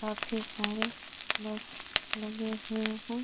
काफी सारे बस लगे हुए हैं।